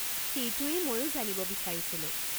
সেইটোৱেই মইও জানিব বিচাৰিছিলো।